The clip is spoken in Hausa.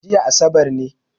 Jiya asabar ne